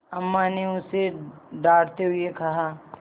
अम्मा ने उसे डाँटते हुए कहा